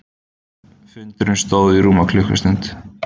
Fundurinn stóð í rúma klukkustund